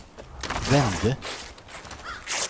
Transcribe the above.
vände